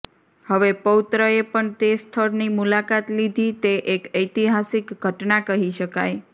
હવે પૌત્રએ પણ તે સ્થળની મુલાકાત લીધી તે એક ઐતિહાસિક ઘટના કહી શકાય